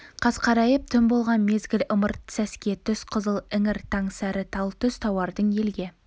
қас қарайып түн болған мезгіл ымырт сәске түс қызыл іңір таң сәрі тал түс тауардың елге